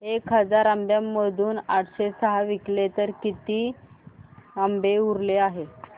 एक हजार आंब्यांमधून आठशे सहा विकले गेले तर आता किती आंबे उरले आहेत